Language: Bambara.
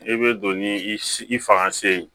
I bɛ don ni i fanga se ye